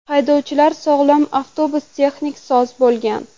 Haydovchi sog‘lom, avtobus texnik soz bo‘lgan.